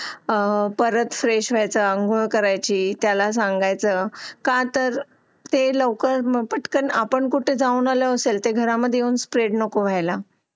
परत फ्रेश होयच अंगोल करायची त्याला संगायच का तार ही लवकर पटकन आपन कुठ जौन आला असेल तर ते घर मधे स्प्रेड नाको होयला